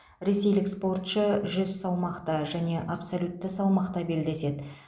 ресейлік спортшы жүз салмақта және абсолютті салмақта белдеседі